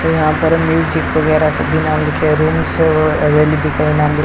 और यहां पर म्यूजिक वगैरह सभी नाम लिखे है रूम्स अवेलेबल का नाम लि--